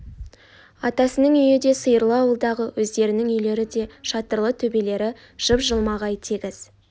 атасының үйі де сиырлы ауылдағы өздерінің үйлері де шатырлы төбелері жып-жылмағай тегіс